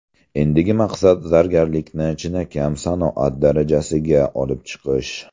Endigi maqsad zargarlikni chinakam sanoat darajasiga olib chiqish.